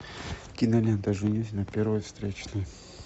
кинолента женюсь на первой встречной